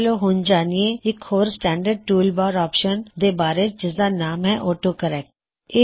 ਚਲੋ ਹੁਣ ਜਾਨਿਏ ਇੱਕ ਹੋਰ ਸਟੈਨਡਰਡ ਟੂਲ ਬਾਰ ਆਪਸ਼ਨ ਦੇ ਬਾਰੇ ਜਿਸਦਾ ਨਾਂਮ ਹੈ ਆਟੋ ਕਰੇਕ੍ਟ